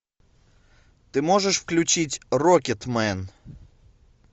ты можешь включить рокетмен